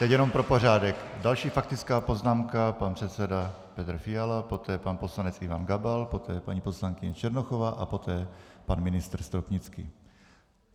Teď jenom pro pořádek - další faktická poznámka pan předseda Petr Fiala, poté pan poslanec Ivan Gabal, poté paní poslankyně Černochová a poté pan ministr Stropnický.